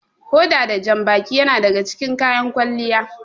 Hoda da janbaki yana daga cikin kayan kwalliya.